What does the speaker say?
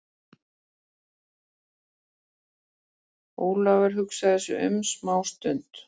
Jón Ólafur hugsaði sig um smá stund.